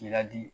Ladi